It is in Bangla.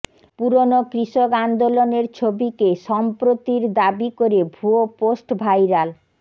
পুরনো কৃষক আন্দোলনের ছবিকে সম্প্রতির দাবি করে ভুয়ো পোস্ট ভাইরাল